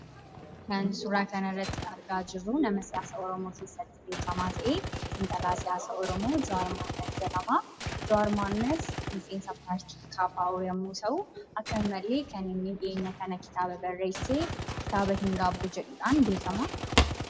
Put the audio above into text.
Kan nuti suuraa kanarratti argaa jirru, nama siyaasaa oromoo keessatti beekamaa ta'e, xiinxalaa siyaasaa oromoo, Jawaar Mohammad jedhama. Jawaar Mohammad miseensa paartii KFO yommuu ta'u, akka malee dhiyeenya kana kan inni kitaaba barreesse. Kitaaba "hin gaabbu " jedhuudhaan beekama .